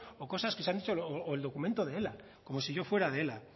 o cosas que se han dicho o el documento de ela como si yo fuera de ela